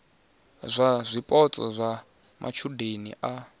ya zwipotso zwa matshudeni a